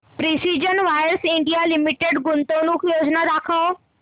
precision wires India limited गुंतवणूक योजना दाखव